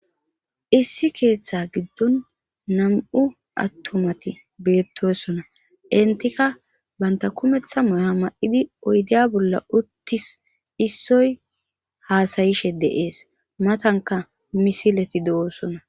Issi keeththa giddon nam'u attumati beettosona. Etika banta kumeththa mayo mayidi oyiddiya bolla uttis .Issoy haasayishe dees. Matanka misileti do'oosona.